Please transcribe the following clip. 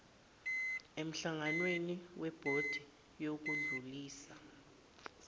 emhlanganweni webhodi yokudlulisa